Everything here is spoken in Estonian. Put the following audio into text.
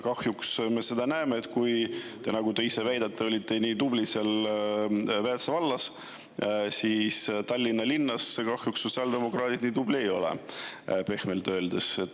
Kahjuks me näeme seda, et kuigi te olite nii tubli seal Väätsa vallas, nagu te ise väitsite, siis Tallinna linnas sotsiaaldemokraadid kahjuks nii tublid ei ole, pehmelt öeldes.